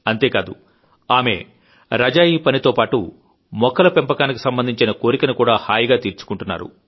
అంతేకాదు ఆమె రజాయీ పనితోపాటు మొక్కల పెంపకానికి సంబంధించిన కోరికను కూడా హాయిగా తీర్చుకుంటున్నారు